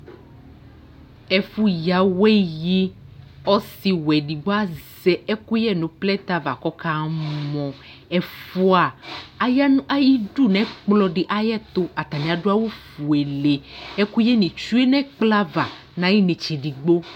Ɛfʋyǝ awɛ yi Ɔsɩwɛ edigbo azɛ ɛkʋyɛ nʋ plɛtɛ ava kʋ ɔkamɔ Ɛfʋa aya nʋ ayidu nʋ ɛkplɔ dɩ ayɛtʋ, atanɩ adʋ awʋfuele Ɛkʋyɛnɩ tsue nʋ ɛkplɔ ava nʋ ayʋ inetse edigbo